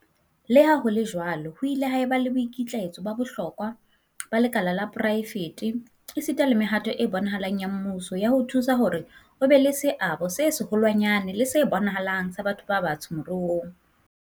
Le ha ho le jwalo, ho nnile ha eba le boikitlaetso ba bohlokwa ba lekala la poraefete, esita le mehato e bonahalang ya mmuso ya ho thusa hore ho be le seabo se seholwanyane le se bonahalang sa batho ba batsho moruong.